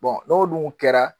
n'olu kɛra